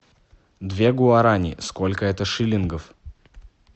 две гуарани сколько это шиллингов